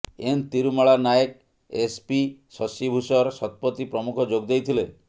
N Tirumala Nayak SP Shashibhushan Satapathy ପ୍ରମୁଖ ଯୋଗଦେଇଥିଲେ